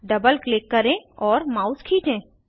double click करें और mouse खीचें